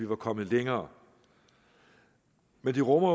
var kommet længere men det rummer